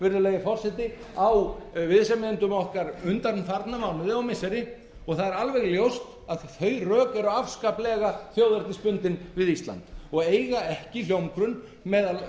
virðulegi forseti á viðsemjendum okkar undanfarna mánuði og missiri og það er alveg ljóst að þau rök eru afskaplega þjóðernisbundin við ísland og eiga ekki hljómgrunn meðal